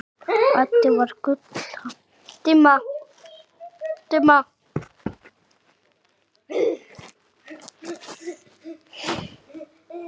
Addi var gull af manni.